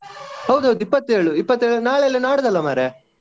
ಹೌದೌದು ಇಪತ್ತ್ ಏಳು ನಾಳೆ ಅಲ್ಲಾ ನಾಡ್ದಲ್ಲ ಮಾರಯಾ.